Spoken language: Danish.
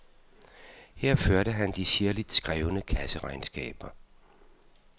Her førte han de sirligt skrevne kasseregnskaber.